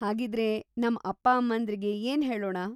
ಹಾಗಿದ್ರೆ, ನಮ್ ಅಪ್ಪ-ಅಮ್ಮಂದ್ರಿಗೆ ಏನ್‌ ಹೇಳೋಣ?